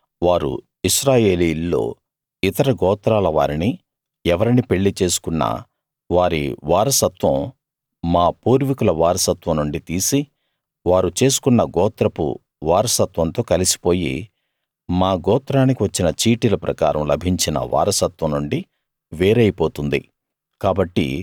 అయితే వారు ఇశ్రాయేలీయుల్లో ఇతర గోత్రాల వారిని ఎవరిని పెళ్లి చేసుకున్నా వారి వారసత్వం మా పూర్వీకుల వారసత్వం నుండి తీసి వారు చేసుకున్న గోత్రపు వారసత్వంతో కలిసిపోయి మా గోత్రానికి వచ్చిన చీటీల ప్రకారం లభించిన వారసత్వం నుండి వేరైపోతుంది